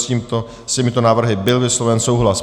S těmito návrhy byl vysloven souhlas.